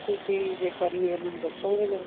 ਤੁਸੀਂ ਜੇ ਕਰੀ ਹੋਈ ਆ ਮੈਨੂੰ ਦੱਸੋਗੇ ਜਰਾ